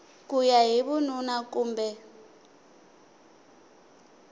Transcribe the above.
ku ya hi vununa kumbe